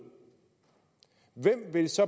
hvem vil så